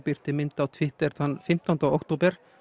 birti mynd á Twitter þann fimmtán október